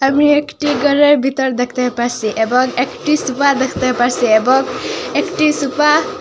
আমি একটি ঘরের ভিতর দেখতে পাসসি এবং একটি সুফা দেখতে পাচ্ছি এবং একটি সুফা --